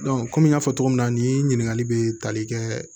kɔmi n y'a fɔ cogo min na ni ɲininkali bɛ tali kɛ